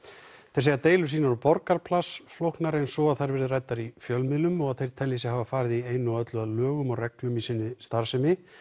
þeir segja deilur sínar og Borgarplasts flóknari en svo að þær verði ræddar í fjölmiðlum og að þeir telji sig hafa farið í einu og öllu að lögum og reglum í sinni starfsemi